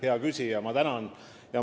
Hea küsija, ma tänan teid!